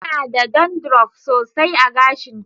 Tana da dandruff sosai a gashinta